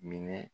Minɛ